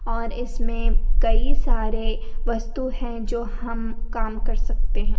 और इसमें कई सारे वस्तु है जो हम काम कर सकते है।